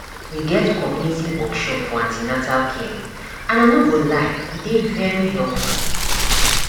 we get community workshop for an ten atal care and i no go lie e dey very helpful